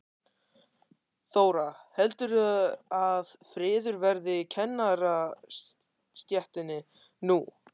Þóra: Heldurðu að friður verði í kennarastéttinni nú?